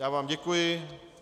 Já vám děkuji.